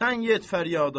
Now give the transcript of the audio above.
Sən yet fəryada.